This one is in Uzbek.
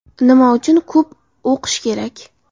Nima uchun ko‘p o‘qish kerak?.